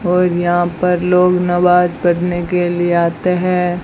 और यहां पर लोग नमाज पढ़ने के लिए आते हैं।